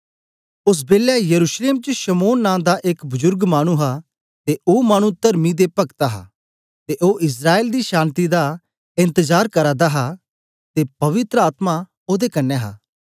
ओस बेलै यरूशलेम च शमौन नां दा एक बुजुर्ग मानु हा ते ओ मानु तरमी ते पक्त हा ते ओ इस्राएल दी शान्ति दा एन्तजार करा दा हा ते पवित्र आत्मा ओदे कन्ने हा